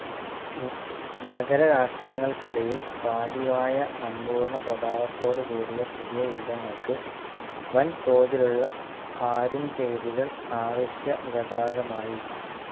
നഗരരാഷ്ട്രങ്ങൾക്കിടയിൽ പാതിവായ സമ്പൂർണസ്വഭാവത്തോടു കൂടിയ പുതിയ യുദ്ധങ്ങൾക്ക് വൻതോതിലുള്ള ആരുംചെയ്തികൾ അവശ്യഖദാകമായി.